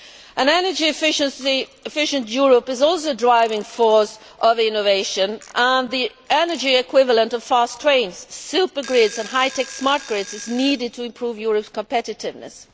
An energy efficient Europe is also a driving force of innovation, and the energy equivalent of fast trains, supergrids and high tech smart grids is needed to improve Europe's competitiveness.